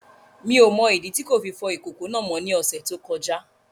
Mi ò mọ ìdí tí kò fi fọ ìkòkò náà mọ́ ní ọ̀sẹ̀ tó kọjá